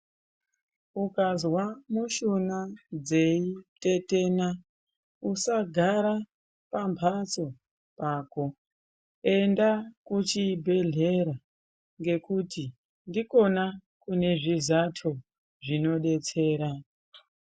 Ukazwa mushuna dzeitetena usagara pamphatso pako enda kuchibhedhlera ngekuti ndikona kune zvizato zvinodetsera.